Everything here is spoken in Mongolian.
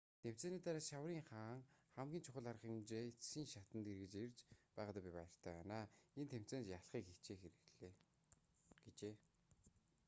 тэмцээний дараа шаврын хаан хамгийн чухал арга хэмжээний эцсийн шатанд эргэж ирж байгаадаа би баяртай байна энэ тэмцээнд ялахыг хичээхээр ирлээ гэжээ